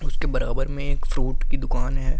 उसके बराबर में एक फ्रूट की दुकान है।